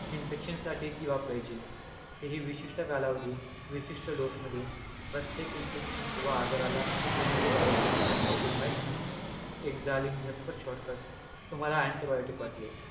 Infection साठी ती वापरायची. ते हि विशिष्ट कालावधीत, विशिष्ट dose मध्ये, प्रत्येक infection किंवा आजाराला antibiotic हा काही उपाय नाही. एक जालीम झटपट shortcut, तुम्हाला antibiotic वाटले.